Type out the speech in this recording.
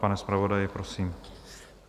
Pane zpravodaji, prosím.